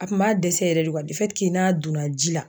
A kun b'a dɛsɛ yɛrɛ de n'a donna ji la